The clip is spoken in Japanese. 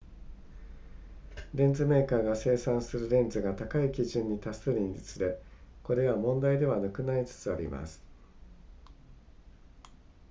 レンズメーカーが生産するレンズが高い基準に達するにつれこれは問題ではなくなりつつあります